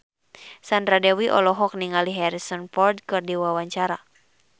Sandra Dewi olohok ningali Harrison Ford keur diwawancara